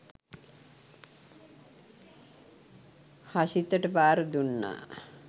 හෂිතට භාර දුන්නා.